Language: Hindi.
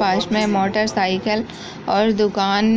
पास में मोटरसाइकिल और दुकान